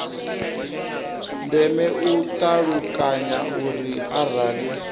ndeme u ṱalukanya uri arali